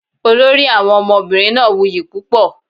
Olori Awọn omobinrin naa wuyi pupo